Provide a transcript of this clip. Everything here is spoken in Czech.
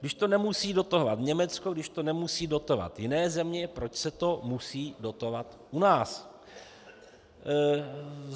Když to nemusí dotovat Německo, když to nemusí dotovat jiné země, proč se to musí dotovat u nás.